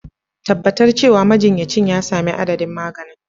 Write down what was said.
Tabbatar cewa majinyacin ya sami adadin maganin.